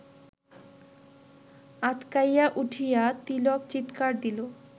আঁতকাইয়া উঠিয়া তিলক চিৎকার দিল